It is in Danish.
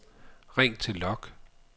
ring til log